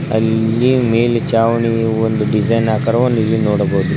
ಅಲ್ಲಿ ಮೇಲೆ ಚಾವಣಿಗೆ ಒಂದು ಡಿಸೈನ್ ಆಕಾರವನ್ನು ಇಲ್ಲಿ ನೋಡಬಹುದು.